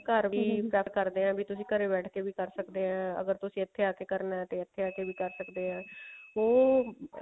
ਘਰ ਕਰ ਸਕਦੇ ਹਾਂ ਵੀ ਤੁਸੀਂ ਘਰ ਬੈਠ ਕੇ ਵੀ ਕਰ ਸਕਦੇ ਹਾਂ ਅਗਰ ਤੁਸੀਂ ਇੱਥੇ ਆ ਕੇ ਕਰਨਾ ਤੇ ਇੱਥੇ ਆ ਕੇ ਵੀ ਕਰ ਸਕਦੇ ਹੋ ਉਹ